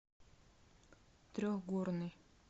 трехгорный